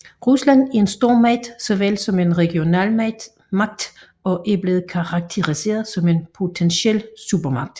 Rusland er en stormagt såvel som en regional magt og er blevet karakteriseret som en potentiel supermagt